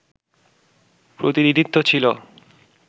প্রতিনিধিত্ব ছিল